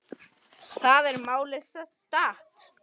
Þar er málið statt.